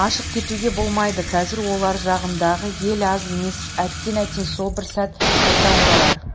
ашық кетуге болмайды қазір олар жағындағы ел аз емес әттең әттең сол бір сәт қайта оралар